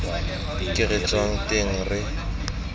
ko re tswang teng re